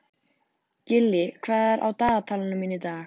Gillý, hvað er á dagatalinu mínu í dag?